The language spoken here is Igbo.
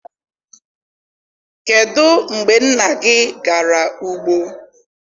kedụ mgbe nna gi gara ugbo?